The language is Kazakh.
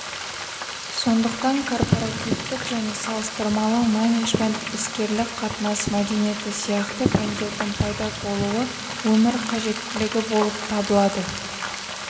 сондықтан корпоративтік және салыстырмалы менеджмент іскерлік қатынас мәдениеті сияқты пәндердің пайда болуы өмір қажеттілігі болып табылады